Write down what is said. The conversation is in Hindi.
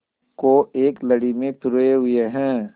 को एक लड़ी में पिरोए हुए हैं